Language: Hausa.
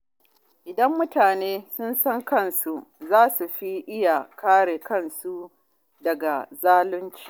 Idan mutane sun san haƙƙinsu, za su fi iya kare kansu daga zalunci.